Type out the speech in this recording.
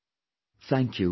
Thank you very much